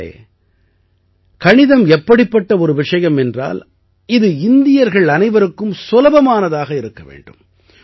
நண்பர்களே கணிதம் எப்படிப்பட்ட ஒரு விஷயம் என்றால் இது இந்தியர்கள் அனைவருக்கும் சுலபமானதாக இருக்க வேண்டும்